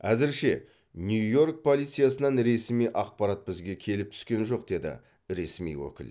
әзірше нью йорк полициясынан ресми ақпарат бізге келіп түскен жоқ деді ресми өкіл